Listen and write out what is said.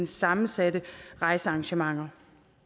sammensatte rejsearrangementer